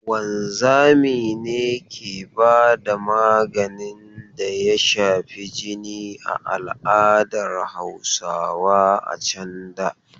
Wanzami ne ke ba da maganin da ya shafi jini a al'adar Hausawa a can da.